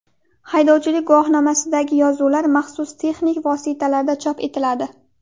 Haydovchilik guvohnomasidagi yozuvlar maxsus texnik vositalarda chop etiladi.